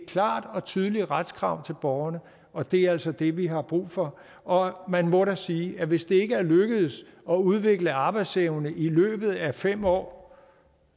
klart og tydeligt retskrav til borgerne og det er altså det vi har brug for og man må da sige at hvis det ikke er lykkedes at udvikle arbejdsevne i løbet af fem år